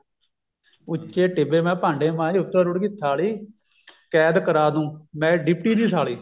ਉੱਚੇ ਟਿੱਬੇ ਮੈਂ ਭਾਂਡੇ ਮਾਂਜਦੀ ਉੱਤੋਂ ਰੁੜ ਗਈ ਥਾਲੀ ਕੈਦ ਕਰਾ ਦਊਂਗੀ ਮੈਂ ਡਿਪਟੀ ਦੀ ਸਾਲੀ